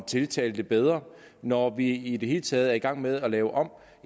tiltalte bedre når vi i det hele taget er i gang med at lave om